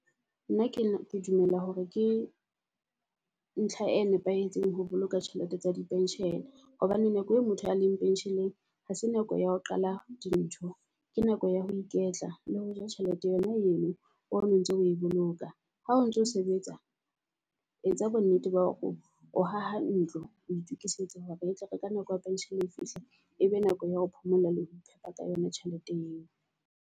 Nna ke ke dumela hore ke ntlha e nepahetseng ho boloka tjhelete tsa di pension-e. Hobane nako e motho ya leng pension-eng ha se nako ya ho qala di ntho, ke nako ya ho iketla le ho ja tjhelete yona ho eno o no ntso o e boloka. Ha ontso sebetsa etsa bonnete ba hore o haha ntlo, o itokisetsa hore e tle re ka nako ya pension-e e fihla. E be nako ya ho phomola le ho iphepa ka yona tjhelete eo.